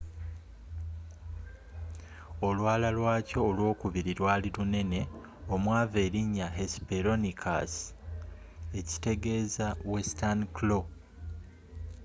olwala lwakyo olwokubiri lwaali lunene omwava erinnya hesperonychus ekitegeeza western claw.